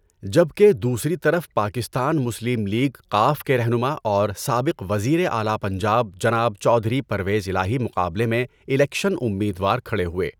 جبکہ دوسری طرف پاکستان مسلم لیگ ق کے رہنما اور سابق وزیرِِاعلیٰ پنجاب جناب چوہدری پرویز الہٰی مقابلے میں الیکشن اُمید وار کھڑے ہوئے۔